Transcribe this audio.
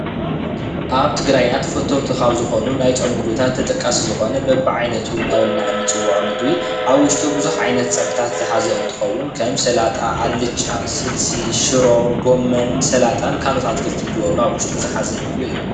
ዝተፈላለየ ዓይነት ፀብሒ ዝሓዘ በቢዐሠይነቱ ይበሃል።